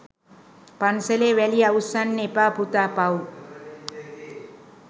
” පන්සලේ වැලි අවුස්සන්න එපා පුතා පව්”.